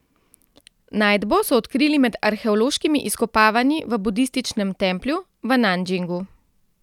Najdbo so odkrili med arheološkimi izkopavanji v budističnem templju v Nanjingu.